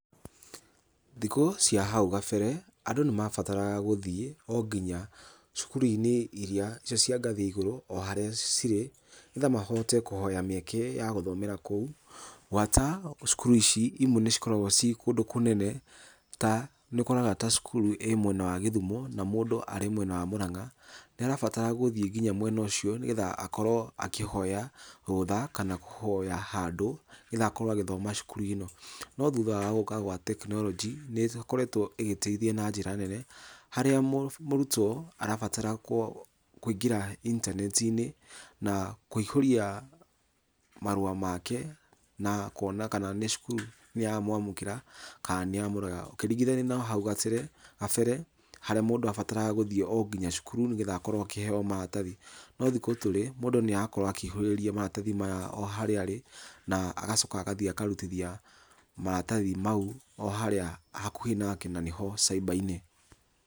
Thikũ cia hau kabere, andũ nĩ mabataraga gũthiĩ o nginya cukuru-inĩ ĩrĩa icio cia ngathĩ ya igũrũ o harĩa cirĩ, nĩgetha mahote kũhoya mĩeke ya gũthomera kũu. Gwata cukuru ici imwe nĩ cikoragwo ciĩ kũndũ kũnene ta nĩ ũkoraga cukuru ĩmwena wa gĩthumo na mũndũ arĩ mwena wa Mũrang'a, nĩ arabatara gũthiĩ nginya mwena ũcio nĩ getha akorwo akĩhoya rũtha kana kũhoya handũ nĩ getha akorwo agĩthoma na cukuru ĩno. No thutha wa gũka gwa tekinoronjĩ nĩ ĩkoretwo ĩgĩteithia na njĩra nene harĩa mũrutwo arabatara kũingĩra intaneti-inĩ na kũihũria marũa make na kuona kana nĩ cukuru nĩ ya mwamũkĩra kana nĩ ya murega. Ũkĩringithania na hau gabere harĩa mũndũ abataraga gũthiĩ o nginya cukuru nĩ getha akorwo akĩheo maratathi. No thikũ tũrĩ mũndũ nĩ arakorwo akĩihũrĩria maratathi maya o harĩa arĩ na agacoka agathiĩ akarutithia maratathi mau o harĩa hakuhĩ nake na nĩho cyber -inĩ.